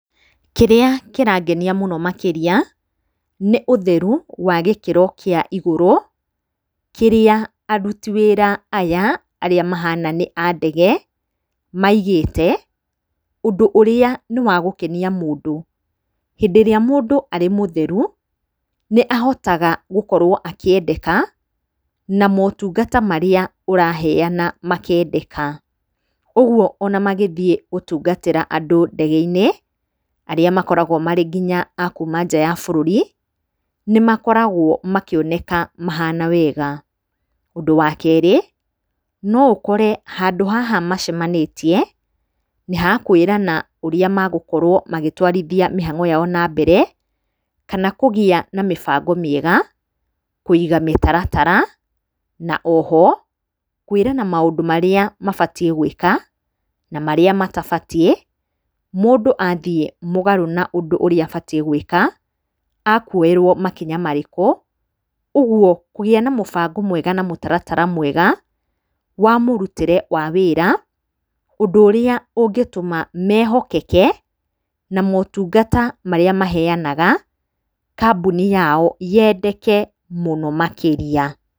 Kĩrĩa kĩrangenia mũno makĩria nĩ ũtheru wa gĩkĩro kĩa igũrũ kĩrĩa aruti wĩra aya arĩa mahana nĩ a ndege maigĩte, ũndũ ũrĩa nĩwagũkenia mũndũ. Hĩndĩ ĩrĩa mũndũ arĩ mũtheru nĩ ahotaga gũkorwo akĩendeka na motungata marĩa ũraheyana makendeka. Ũguo ona magĩthiĩ gũtungatĩra andũ ndege-inĩ, arĩa makoragwo marĩ nginya akuma nja wa bũrũri, nĩmakoragwo makĩoneka mahana wega. Ũndũ wa kerĩ, no ũkore handũ haha macemanĩtie nĩhakwĩrana ũrĩa magũkorwo magĩtwarithia mĩhang'o yao na mbere, kana kũgĩa na mĩbango mĩega, kũiga mĩtaratara, na o ho kwĩrana maũndũ marĩa mabatiĩ gwĩka na marĩa matabatiĩ. Mũndũ athiĩ mũgarũ na ũndũ ũrĩa atabatiĩ gwĩka akuoerwo makinya marĩkũ. Ũguo kũgĩa na mũbango mwega na mũtaratara mwega wa mũrutĩre wa wĩra, ũndũ ũrĩa ũngĩtũma mehokeke na motungata marĩa maheyanaga kambuni yao yendeke mũno makĩria.